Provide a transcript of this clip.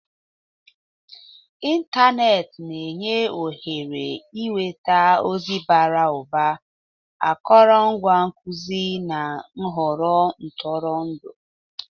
Ịntanetị na-enye ohere ịnweta ozi bara ụba, akụrụngwa nkuzi, na nhọrọ ntụrụndụ.